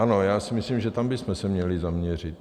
Ano, já si myslím, že tam bychom se měli zaměřit.